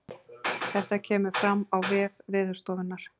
Þetta kemur fram á vef veðurstofunnar